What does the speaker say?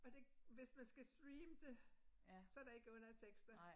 Og det hvis man skal streame det så der ikke undertekster